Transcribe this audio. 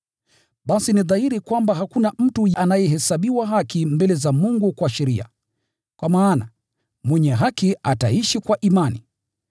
Basi ni dhahiri kwamba hakuna mtu anayehesabiwa haki mbele za Mungu kwa kushikilia sheria, kwa maana, “Mwenye haki ataishi kwa imani.”